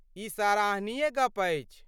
ई सराहनीय गप्प अछि।